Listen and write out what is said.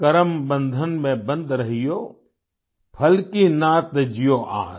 करम बंधन में बन्ध रहियो फल की ना तज्जियो आस